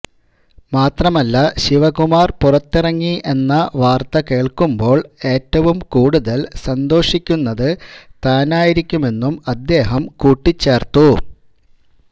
മാത്രമല്ല ശിവകുമാര് പുറത്തിറങ്ങി എന്ന വാര്ത്ത കേള്ക്കുമ്പോള് ഏറ്റവും കൂടുതല് സന്തോഷിക്കുന്നത് താനായിരിക്കുമെന്നും അദ്ദേഹം കൂട്ടിച്ചേര്ത്തു